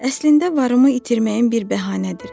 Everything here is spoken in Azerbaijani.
Əslində varımı itirməyim bir bəhanədir.